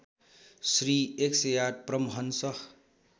Shri १०८ Paramhans